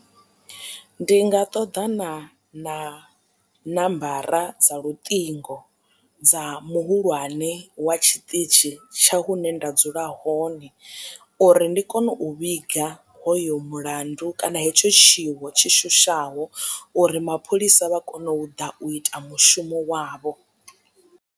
Ndi nga ṱoḓana na ṋambara dza luṱingo dza muhulwane wa tshiṱitshi tsha hune nda dzula hone uri ndi kone u vhiga hoyo mulandu kana hetsho tshiwo tshi shushaho uri mapholisa vha kone u ḓa u ita mushumo wavho.